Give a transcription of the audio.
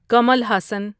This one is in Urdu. کمل ہاسن